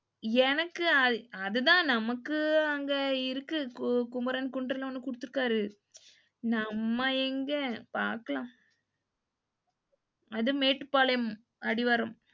எனக்கு அது அதுதான் நமக்கு அங்க இருக்கு குமரன் குன்று ல ஒன்னு குடுத்துருக்காரு. நம்ம எங்க பாக்கலாம், அது மேட்டுபாளையம் அடிவாரம்.